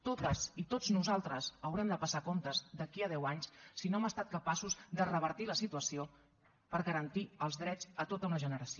totes i tots nosaltres haurem de passar comptes d’aquí a deu anys si no hem estat capaços de revertir la situació per garantir els drets a tota una generació